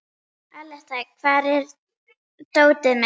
Aletta, hvar er dótið mitt?